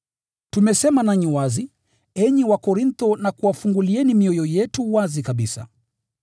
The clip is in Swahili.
Tumesema nanyi wazi, enyi Wakorintho na kuwafungulieni mioyo yetu wazi kabisa.